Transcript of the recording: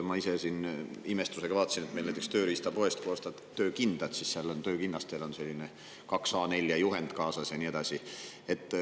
Ma ise imestusega vaatasin, et näiteks kui sa tööriistapoest ostad töökindad, siis töökinnastega on kaks A4 juhend kaasas ja nii edasi.